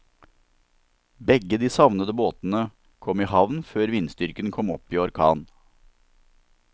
Begge de savnede båtene kom i havn før vindstyrken kom opp i orkan.